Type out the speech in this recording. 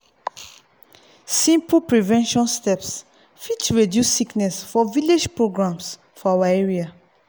simple prevention steps fit reduce sickness for village programs for our area.